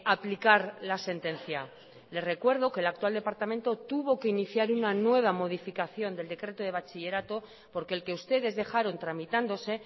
aplicar la sentencia le recuerdo que el actual departamento tuvo que iniciar una nueva modificación del decreto de bachillerato porque el que ustedes dejaron tramitándose